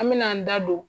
An mɛna an da don